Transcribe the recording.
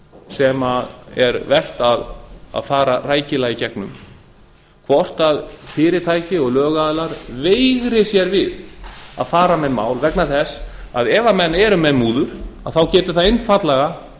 sem er vert að fara rækilega í gegnum hvort fyrirtæki og lögaðilar veigri sér við að fara með mál vegna þess ef menn eru með múður þá getur það einfaldlega